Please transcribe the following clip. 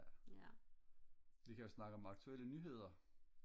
ja vi kan jo snakke om aktuelle nyheder